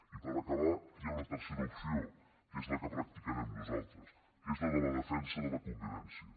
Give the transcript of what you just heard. i per acabar hi ha una tercera opció que és la que practicarem nosaltres que és la de la defensa de la convivència